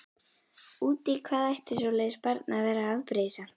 Út í hvað ætti svoleiðis barn að vera afbrýðisamt?